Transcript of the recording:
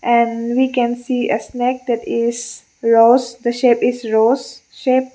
and we can see a snack that is rose the shape is rose shape --